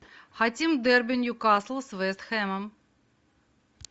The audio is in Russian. хотим дерби ньюкасл с вест хэмом